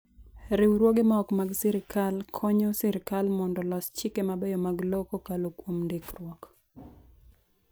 Riwruoge ma ok mag sirkal konyo sirkal mondo olos chike mabeyo mag lowo kokalo kuom ndikruok.